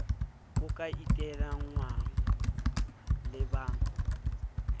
ho ka iteangwang le ba